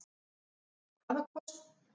Hvaða kosti og galla sérðu við rekstrarumhverfið?